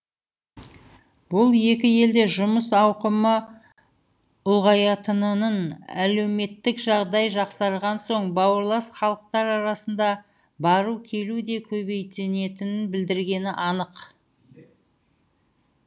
бұл екі елде жұмыс ауқымы ұлғаятынынын әлеуметтік жағдай жақсарған соң бауырлас халықтар арасында бару келу де көбейетінін білдіргені анық